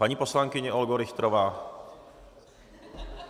Paní poslankyně Olgo Richterová!